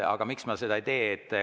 Aga miks ma seda ei tee?